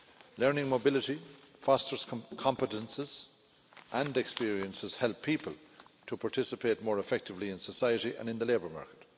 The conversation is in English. Learning mobility fosters competences and experiences help people to participate more effectively in society and in the labour market.